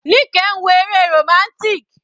Nike ń wo eré romantic.